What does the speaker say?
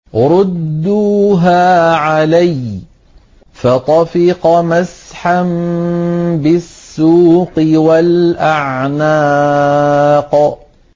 رُدُّوهَا عَلَيَّ ۖ فَطَفِقَ مَسْحًا بِالسُّوقِ وَالْأَعْنَاقِ